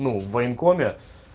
ну в военкоме